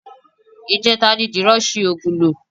Ìjẹta ni Dìran ṣi oògùn lò